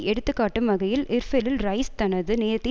எடுத்துக்காட்டும் வகையில் இர்பிலில் ரைஸ் தனது நேரத்தை